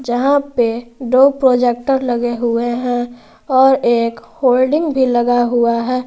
जहां पे दो प्रोजेक्टर लगे हुए हैं और एक होल्डिंग भी लगा हुआ है।